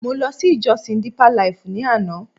Mo ló sí ìjosìn Deeper life ni àná